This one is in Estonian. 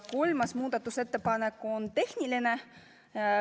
Kolmas muudatusettepanek on tehniline.